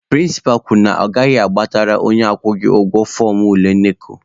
Prịnsịpa kwuru na ọ gaghị agbatara onye akwụghị ụgwọ fọọmụ ule NECO.